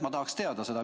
Ma tahaks teada seda.